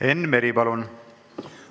Enn Meri, palun!